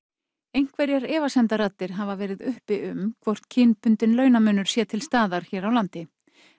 einhverjar efasemdaraddir hafa verið uppi um hvort kynbundinn launamunur sé til staðar hér á landi